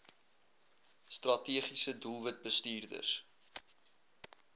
strategiese doelwit bestuurders